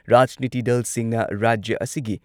ꯔꯥꯖꯅꯤꯇꯤ ꯗꯜꯁꯤꯡꯅ ꯔꯥꯖ꯭ꯌ ꯑꯁꯤꯒꯤ